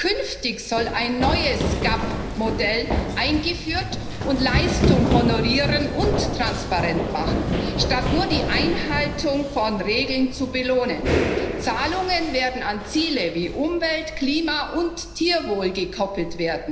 Künftig soll ein neues GAP Modell eingeführt werden, das Leistung honoriert und transparent macht, statt nur die Einhaltung von Regeln zu belohnen. Zahlungen werden an Ziele wie Umwelt, Klima und Tierwohl gekoppelt.